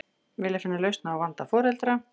Vilja finna lausn á vanda foreldra